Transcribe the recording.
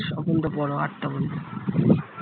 l